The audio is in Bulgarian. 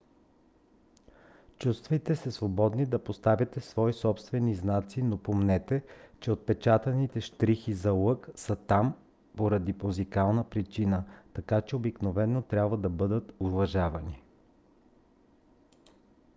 чувствайте се свободни да поставяте свои собствени знаци но помнете че отпечатаните щрихи за лък са там поради музикална причина така че обикновено трябва да бъдат уважавани